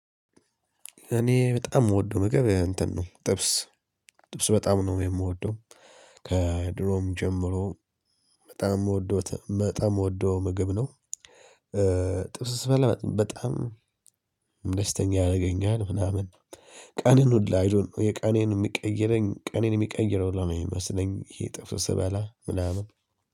እኔ በጣም የምወደው ምግብ እንትን ነው ጥብስ ጥብስ በጣም ነው የምወደው ከድሮም ጀምሮ በጣም የምወደው ምግብ ነው። ጥቅስ ስበላ በጣም ደስተኛ ያደርገኛል ምናምን ቀኔን ሁላ አይ ዶንት ኖ የቀኔን የሚቀይረኝ ቀኔን የሚቀይረው ሁላ ነው የሚመስለኝ ይሄ ጥፍስ በላ ምናምን